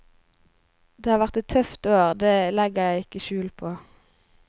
Det har vært et tøft år, det legger jeg ikke skjul på.